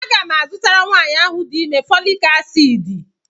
A ga-mu azụtara nwaanyi ahụ di ime fọọlịc aciidị.